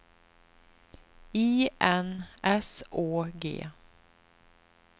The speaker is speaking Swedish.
I N S Å G